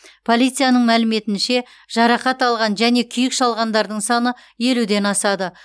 полицияның мәліметінше жарақат алған және күйік шалғандардың саны елуден асады